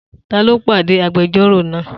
Ta ló pàdé agbẹjọ́rò náà?